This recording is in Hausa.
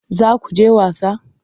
Za ku je wasa?